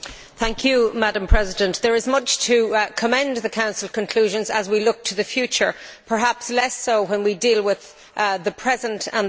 Madam President, there is much to commend the Council conclusions as we look to the future perhaps less so when we deal with the present and the past.